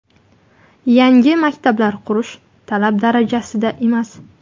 Yangi maktablar qurish talab darajasida emas.